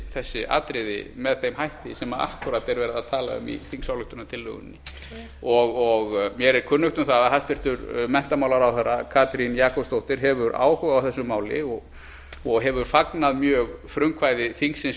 þessi atriði með þeim hætti sem akkúrat er verið að tala um í þingsályktunartillögunni mér er kunnugt um það að hæstvirtur menntamálaráðherra katrín jakobsdóttir hefur áhuga á þessu máli og hefur fagnað mjög frumkvæði þingsins